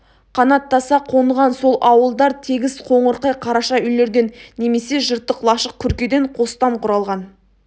қанаттаса қонған сол ауылдар тегіс қоңырқай қараша үйлерден немесе жыртық лашық күркеден қостан құралған